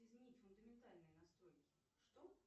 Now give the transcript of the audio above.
изменить фундаментальные настройки что